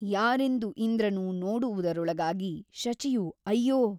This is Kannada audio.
ಯಾರೆಂದು ಇಂದ್ರನು ನೋಡುವುದರೊಳಗಾಗಿ ಶಚಿಯು ಅಯ್ಯೋ !